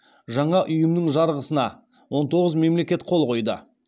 жаңа ұйымның жарғысына он тоғыз мемлекет қол қойды